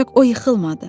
Ancaq o yıxılmadı.